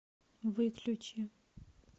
выключи